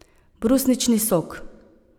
Brusnični sok.